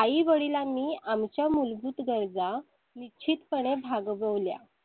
आई वडिलांनि मूलभूत आमच्या गरजा निश्चित पणे भागवल्या.